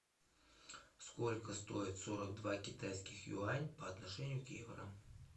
сколько стоит сорок два китайских юань по отношению к евро